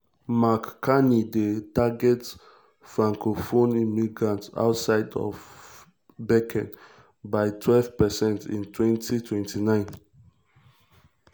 mark carney dey target francophone immigrants outside of quebec by 12 percent in 2029.